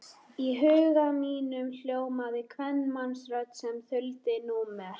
Í huga mínum hljómaði kvenmannsrödd sem þuldi númer.